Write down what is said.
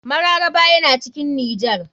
Mararaba yana cikin nijar.